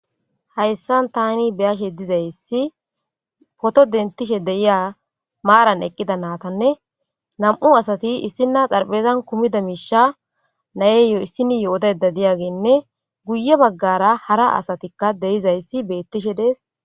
hayssan tani beyashe dizayssi poto dentishe deyiya maaran eqqida naatanne nam7u asati issinna xarphezan kumida miisha nayeyo issini yo7odayda diyaginne guye baggara hara asatikka deyizayssi beettishe dees